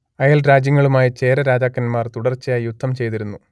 അയൽ രാജ്യങ്ങളുമായി ചേര രാജാക്കന്മാർ തുടർച്ചയായി യുദ്ധം ചെയ്തിരുന്നു